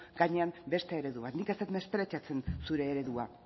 gainean beste eredu bat nik ez dut mespretxatzen zure eredua